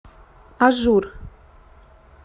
ажур